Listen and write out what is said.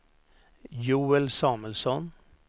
Joel Samuelsson